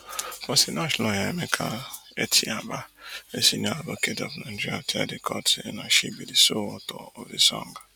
but sinach lawyer emeka etiaba a senior advocate of nigeria tell di court say na she be di sole author of di song